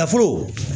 Nafolo